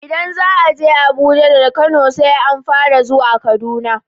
Idan za aje Abuja daga Kano, sai an fara zuwa Kaduna.